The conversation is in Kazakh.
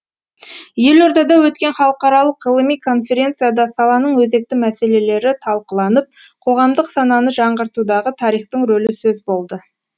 елордада өткен халықаралық ғылыми конференцияда саланың өзекті мәселелері талқыланып қоғамдық сананы жаңғыртудағы тарихтың рөлі сөз болды